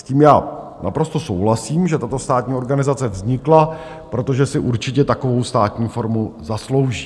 S tím já naprosto souhlasím, že tato státní organizace vznikla, protože si určitě takovou státní formu zaslouží.